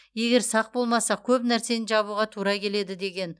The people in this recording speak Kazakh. егер сақ болмасақ көп нәрсені жабуға тура келеді деген